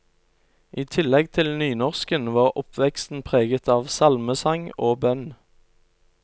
I tillegg til nynorsken, var oppveksten preget av salmesang og bønn.